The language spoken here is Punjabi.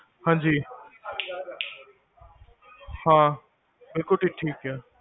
ਹਾਂਜੀ ਹਾਂ, ਬਿਲਕੁਲ ਠੀਕ ਹੈ